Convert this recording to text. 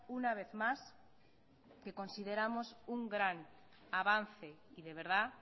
una vez más que consideramos un gran avance y de verdad